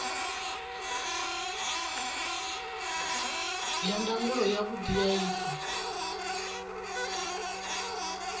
ya ndangulo yavhudi ya ifa